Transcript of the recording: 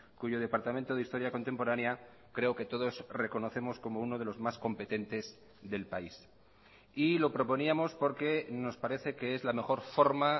cuyo departamento de historia contemporánea creo que todos reconocemos como uno de los más competentes del país y lo proponíamos porque nos parece que es la mejor forma